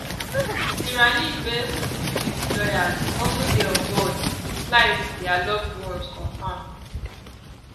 sarah lee best two dc lawyers also dey on board di flight dia loved ones confam